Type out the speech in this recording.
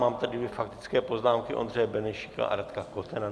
Mám tady dvě faktické poznámky, Ondřeje Benešíka a Radka Kotena.